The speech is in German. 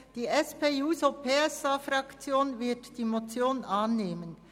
Die SP-JUSO-PSA-Fraktion wird die Motion annehmen.